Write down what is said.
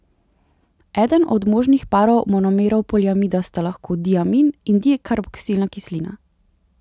Eden od možnih parov monomerov poliamida sta lahko diamin in dikarboksilna kislina.